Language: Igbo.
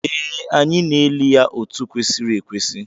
Ee, anyị na-eli ya otu kwesịrị ekwesị